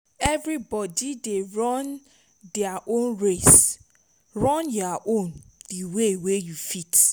evri bodi dey run dia own race run yur own di way yu fit